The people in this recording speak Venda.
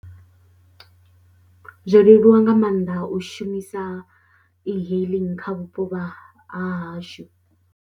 Zwo leluwa nga maanḓa u shumisa e-hailing kha vhupo vha ha hashu.